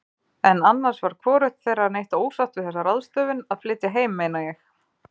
En annars var hvorugt þeirra neitt ósátt við þessa ráðstöfun, að flytja heim meina ég.